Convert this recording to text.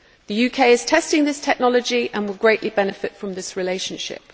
The UK is testing this technology and will greatly benefit from this relationship.